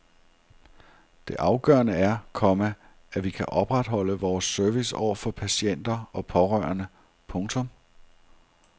Det afgørende er, komma at vi kan opretholde vores service over for patienter og pårørende. punktum